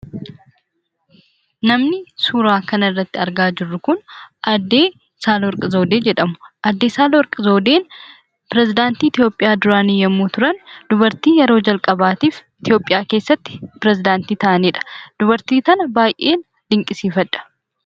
Namni suuraa kanarratti argaa jirru kun aadde Saalawarqi zawudee jedhamu. Aadde Saalawarqi zawudeen piresedaantii Itoopiyaa duraanii yommuu turan, dubartii yeroo jalqabaaf Itoopiyaa keessatti perisidaantii ta'anidha. Dubartii kana baayyeen dinqisiifadha.